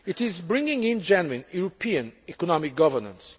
It is bringing in genuine European economic governance.